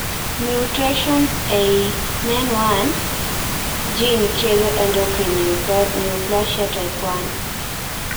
Mutations ee ii MEN 1 gene kelo endocrine neoplasia type 1